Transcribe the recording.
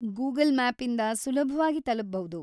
Google ಮ್ಯಾಪ್ಇಂದ ಸುಲಭ್ವಾಗಿ ತಲುಪಬೌದು.